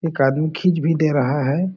एक आदमी खींच भी दे रहा हैं ।